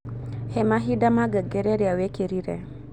hee mahinda ma ngengere iria wikirire